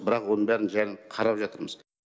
бірақ оның бәрін қарап жатырмыз